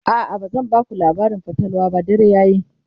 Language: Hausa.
a'a bazan Baku labarin fatalwa ba dare yayi